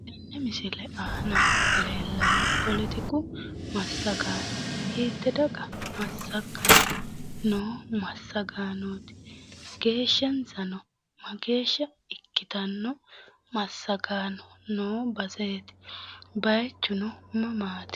Tenne misile aana leellanno poletiku massagaano hiitte daga massaganni noo massagaanooti? geeshshansano mageeshsha ikkitanno massagaano noo baseeti, baayiichuno mamaati?